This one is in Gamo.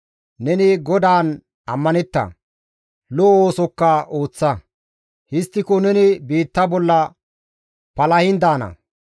Neni GODAAN ammanetta; lo7o oosokka ooththa; histtiko neni biitta bolla palahin daana.